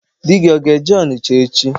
Di gi aga-eje Ọnịcha echi?